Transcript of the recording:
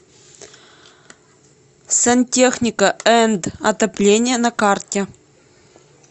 сантехника энд отопление на карте